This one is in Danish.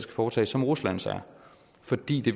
foretages som ruslands er fordi det